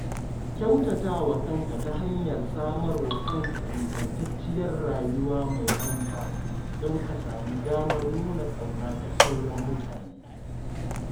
Kyautatawa kanka ta hanyar samarwa kanka ingantacciyar rayuwa mai manufa don ka samu damar nuna ƙauna ga sauran mutane.